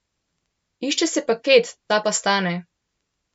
Išče se paket, ta pa stane.